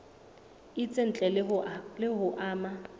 itseng ntle le ho ama